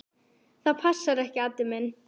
Það passar ekki, Addi minn.